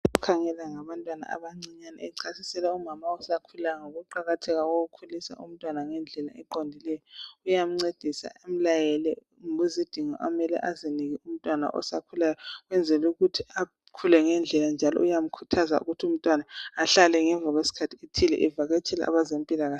Okhangela ngabantwana abancinyane echasisela umama osakhulayo ngokuqakatheka kokukhulisa umntwana ngendlela eqondileyo, uyamncedisa emlayele lezidingo amele azinike umntwana osakhulayo ukwenzela ukuthi akhule ngendlela njalo, uyamkhuthaza ukuthi umntwana ahlale ngemva kwesikhathi esithile evakatshela abezempilakahle.